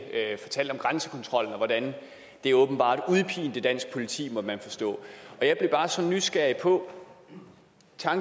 at fortælle om grænsekontrollen og hvordan den åbenbart udpinte dansk politi måtte man forstå jeg blev bare så nysgerrig på